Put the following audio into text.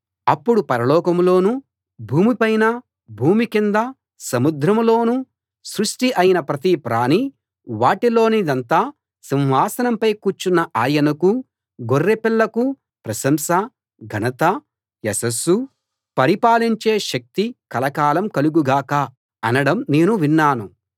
అప్పుడు పరలోకంలోనూ భూమి పైనా భూమి కిందా సముద్రంలోనూ సృష్టి అయిన ప్రతి ప్రాణీ వాటిలోనిదంతా సింహాసనంపై కూర్చున్న ఆయనకూ గొర్రెపిల్లకూ ప్రశంసా ఘనతా యశస్సూ పరిపాలించే శక్తి కలకాలం కలుగు గాక అనడం నేను విన్నాను